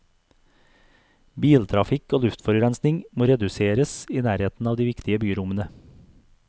Biltrafikk og luftforurensing må reduseres i nærheten av de viktige byrommene.